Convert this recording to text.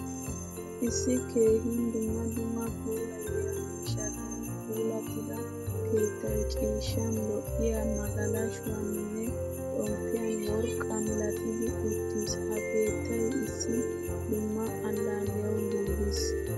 Issi keehin dumma dumma puulayiya miishshatun puulatida keettay ciishshan, lo'iyaa magalashshuwaninne xomppiyan worqqa milatidi uttiis. Ha keettay issi fdumma allaliyawu giigis.